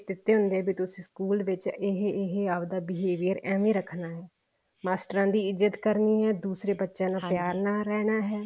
ਦਿੱਤੇ ਹੁੰਦੇ ਆ ਵੀ ਤੁਸੀਂ ਸਕੂਲ ਵਿੱਚ ਇਹ ਇਹ ਆਪਦਾ behavior ਏਵੇਂ ਰੱਖਣਾ ਹੈ ਮਾਸਟਰਾਂ ਦੀ ਇੱਜਤ ਕਰਨੀ ਹੈ ਦੂਸਰੇ ਬੱਚਿਆਂ ਨਾਲ ਪਿਆਰ ਨਾਲ ਰਹਿਣਾ ਹੈ